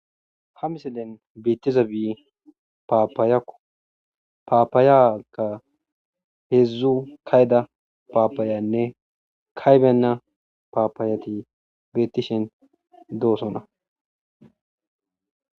ha miselen beettiza bi paapayako paapaayaka heedzdzu kayda paapayanne kaybenna paapayati beettishen doosona